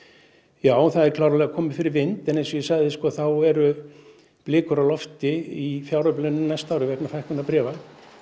já það er klárlega komið fyrir vind en eins og ég sagði þá eru blikur á lofti í fjáröflun á næsta ári vegna fækkunar bréfa